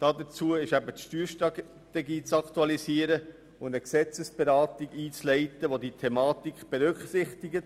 Dazu ist die Steuerstrategie zu aktualisieren und eine Gesetzesberatung einzuleiten, welche diese Thematik berücksichtigt.